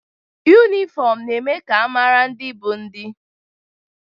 Yunifọmụ na-eme ka a mara ndị bụ ndị.